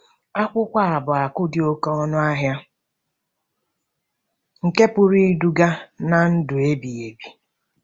Akwụkwọ a bụ akụ̀ dị oké ọnụ ahịa nke pụrụ iduga ná ndụ ebighị ebi